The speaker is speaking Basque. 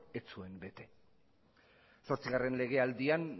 ez zuen bete zortzigarren legealdian